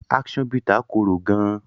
Action bitter kòrò gaan.